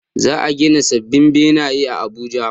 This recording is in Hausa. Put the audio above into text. Za a gina sabbin benaye a Abuja